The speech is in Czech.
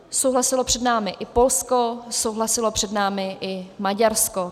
Souhlasilo před námi i Polsko, souhlasilo před námi i Maďarsko.